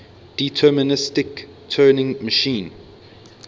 deterministic turing machine